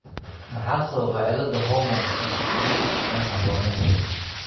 Maxaa sababa cilladda hormoonka antidiuretic ee aan habboonayn?